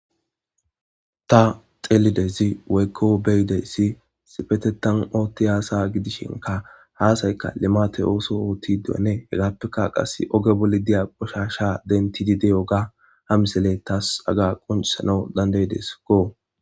Ta xellizayssi woykko beyizayssii issipetetan ootiya asa gidishinkka ha asaykka limate oosuwa oottidinne heggappe qase ooge bolla diyo qoshshasha denttidii diyogga ha misiley tas hagga qonccisanaw dandda'iedesikko